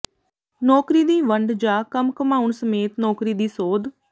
ਨੌਕਰੀ ਦੀ ਵੰਡ ਜਾਂ ਕੰਮ ਘੁੰਮਾਉਣ ਸਮੇਤ ਨੌਕਰੀ ਦੀ ਸੋਧ